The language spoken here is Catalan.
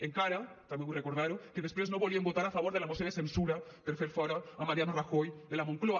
encara també vull recordar ho que després no volien votar a favor de la moció de censura per fer fora mariano rajoy de la moncloa